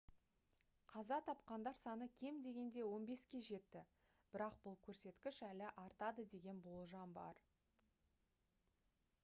қаза тапқандар саны кем дегенде 15-ке жетті бірақ бұл көрсеткіш әлі артады деген болжам бар